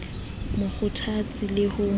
mo kgothatse le ho mo